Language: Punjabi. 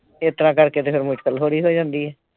ਇਸ ਤਰ੍ਹਾਂ ਕਰਕੇ ਤੇ ਫਿਰ ਮੁਸ਼ਕਿਲ ਥੋੜੀ ਹੋ ਜਾਂਦੀ ਐ।